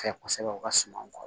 Fɛ kosɛbɛ u ka suma kɔ